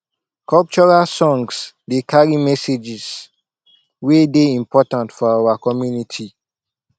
cultural songs dey carry messages wey dey important for our community